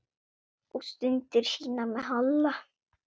Og stundir sínar með Halla.